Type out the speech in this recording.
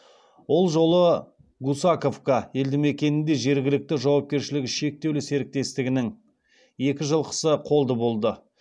ол жолы гусаковка елдімекенінде жергілікті жауапкершілігі шектеулі серіктестігінің екі жылқысы қолды болды